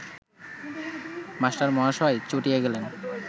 মাস্টারমহাশয় চটিয়া গেলেন